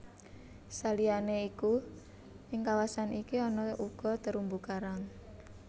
Saliyané iku ing kawasan iki ana uga terumbu karang